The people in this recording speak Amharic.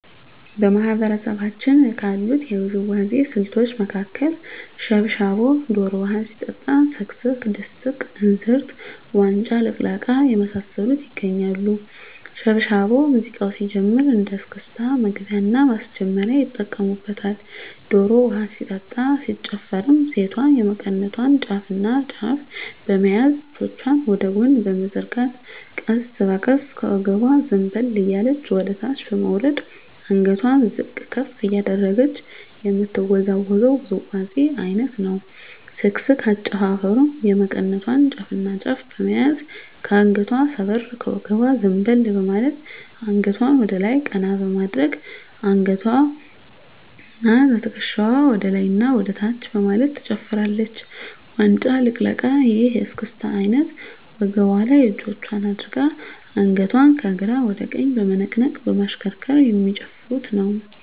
በማህበረሰባችን ካሉት የውዝዋዜ ስልቶች መካከል ሽብሻቦ ዶሮ ውሀ ሲጠጣ ስክስክ ድስቅ እንዝርት ዋንጫ ልቅለቃ የመሳሰሉት ይገኛሉ። ሽብሻቦ ሙዚቃው ሲጀምር እንደ እስክስታ መግቢያና ማስጀመሪያ ይጠቀሙበታል። ዶሮ ውሀ ሲጠጣ ሲጨፈርም ሴቷ የመቀነቷን ጫፍና ጫፍ በመያዝ እጆቿን ወደ ጎን በመዘርጋት ቀስ በቀስ ከወገቧ ዘንበል እያለች ወደታች በመውረድ አንገቷን ዝቅ ከፍ እያደረገች የምትወዛወዘው ውዝዋዜ አይነት ነው። ስክስክ አጨፋፈሩም የመቀነቷን ጫፍና ጫፍ በመያዝ ከአንገቷ ሰበር ከወገቧ ዘንበል በማለት አንገቷን ወደላይ ቀና በማድረግ በአንገትዋና በትክሻዋ ወደላይና ወደታች በማለት ትጨፍራለች። ዋንጫ ልቅለቃ ይህ የእስክስታ አይነት ወገቧ ላይ እጆቿን አድርጋ አንገቷን ከግራ ወደ ቀኝ በመነቅነቅ በማሽከርከር የሚጨፍሩት ነው።